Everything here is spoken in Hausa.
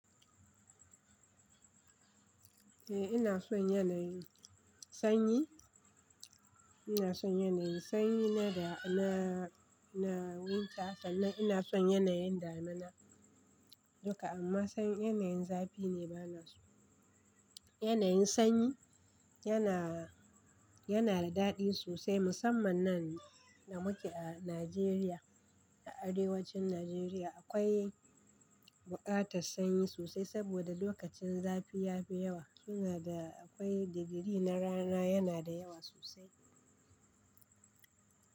Eh ina son yanayin sanyi, ina son yanayin sanyi na da, na, na wanke haka. Ina son yanayin damina duka amma sanyin yanayin zafi ne bana so. Yanayin sanyi yana, yana da daɗi sosai musamman nan da muke a Najeriya. A arewacin Najeriya akwai buƙatar sanyi sosai saboda lokacin zafi ya fi yawa. Kina da akwai digiri na rana yana da yawa sosai.